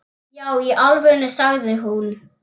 Já í alvöru, sagði hún.